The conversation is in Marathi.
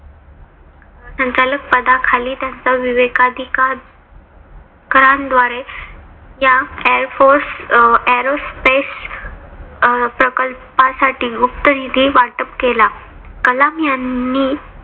संचालक पदाखाली त्यांचा विवेकाधिकार रान द्वारे या airforce aerospace अं प्रकल्पासाठी गुप्त निधी वाटप केला.